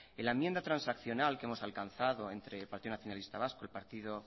en la enmienda transaccional que hemos alcanzado entre el partido nacionalista vasco el partido